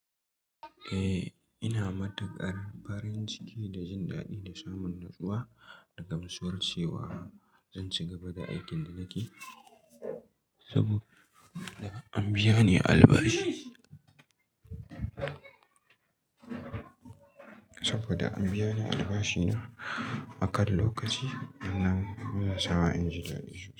Eh, ina matukar farin ciki da jin daɗin samun natsuwa da gamsuwar chewa zan ci gaba da aikin da nake saboda an biya ni albashi. Saboda an biya ni albashi na akan lokaci wannanmun yanasawa inji daɗi.